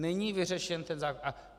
Není vyřešen ten zákon.